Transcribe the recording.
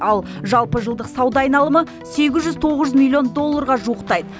ал жалпы жылдық сауда айналымы сегіз жүз тоғыз жүз милллион долларға жуықтайды